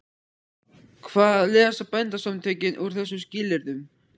Hvað lesa Bændasamtökin úr þessum skilyrðum?